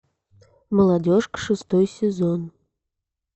молодежка шестой сезон